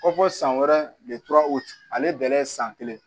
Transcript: Ko fɔ san wɛrɛ ale bɛɛ lajɛlen san kelen